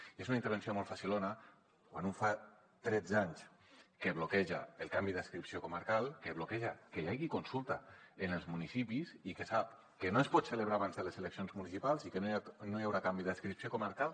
i és una intervenció molt facilona quan un fa tretze anys que bloqueja el canvi d’adscripció comarcal que bloqueja que hi hagi consulta en els municipis i que sap que no es pot celebrar abans de les eleccions municipals i que no hi haurà canvi d’adscripció comarcal